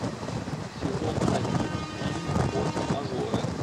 сезон один фильм форс мажоры